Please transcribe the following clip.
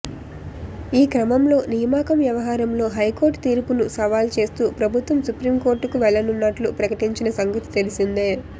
ఈ క్రమంలో నియామకం వ్యవహారంలో హైకోర్టు తీర్పును సవాలు చేస్తూ ప్రభుత్వం సుప్రీంకోర్టుకు వెళ్లనున్నట్లు ప్రకటించిన సంగతి తెలిసిందే